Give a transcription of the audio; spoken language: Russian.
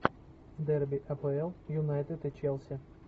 дерби апл юнайтед и челси